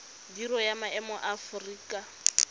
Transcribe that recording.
biro ya maemo ya aforika